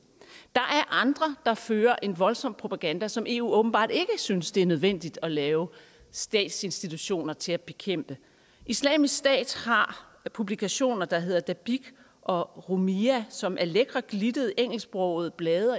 er andre der fører en voldsom propaganda som eu åbenbart ikke synes det er nødvendigt at lave statsinstitutioner til at bekæmpe islamisk stat har publikationer der hedder dabiq og rumiyah som er lækre glittede engelsksprogede blade